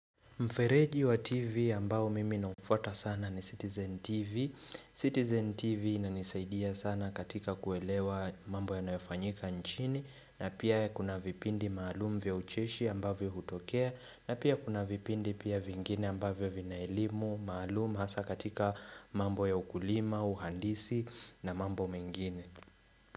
Mfereji wa TV ambao mimi naufuata sana ni Citizen TV Citizen TV inanisaidia sana katika kuelewa mambo yanayofanyika nchini na pia kuna vipindi maalumu vya ucheshi ambavyo hutokea na pia kuna vipindi pia vingine ambavyo vina elimu maalumu hasa katika mambo ya ukulima, uhandisi na mambo mengine.